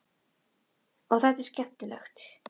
Og er þetta skemmtilegt?